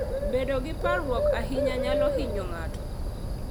Bedo gi parruok ahinya nyalo hinyo ng'ato.